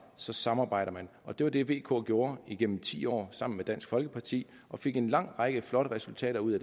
så samarbejder man og det var det vk gjorde igennem ti år sammen med dansk folkeparti og fik en lang række flotte resultater ud af